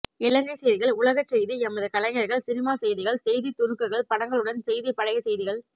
இலங்கை செய்திகள் உலகச்செய்தி எமது கலைஞர்கள் சினிமா செய்திகள் செய்தித் துணுக்குகள் படங்களுடன் செய்தி பழைய செய்திகள்